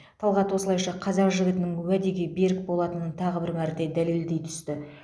талғат осылайша қазақ жігітінің уәде берік болатынын тағы бір мәрте дәлелдей түсті